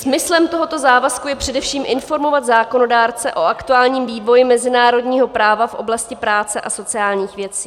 Smyslem tohoto závazku je především informovat zákonodárce o aktuálním vývoji mezinárodního práva v oblasti práce a sociálních věcí.